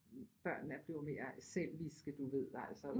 Børn er blevet mere selviske du ved altså